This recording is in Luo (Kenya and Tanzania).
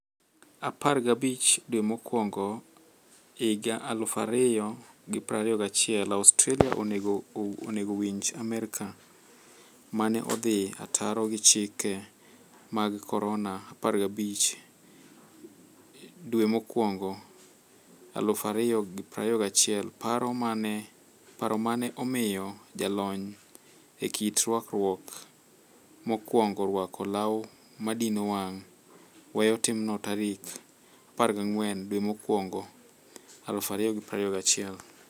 15 Januari 2021 Australia onego winj Amerka mane odhi ataro gi chike mag korona' 15 Januari 2021 Paro mane omiyo jalony e kit rwakruok mokwongo rwako law madino wang' weyo timno tarik 14 januari 2021.